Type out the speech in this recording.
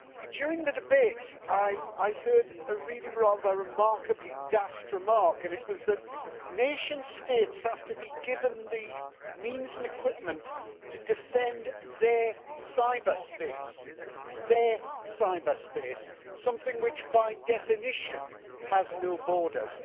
During the debate I heard a really rather remarkably daft remark, and it was that nation states have to be given the means and equipment to defend their cyberspace their cyberspace something which by definition has no borders.